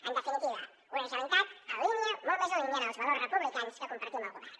en definitiva una generalitat en línia molt més en línia amb els valors republicans que compartim al govern